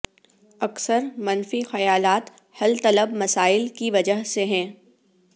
اکثر منفی خیالات حل طلب مسائل کی وجہ سے ہیں